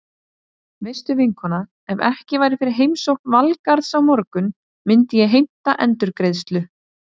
Veistu vinkona, ef ekki væri fyrir heimsókn Valgarðs á morgun myndi ég heimta endurgreiðslu.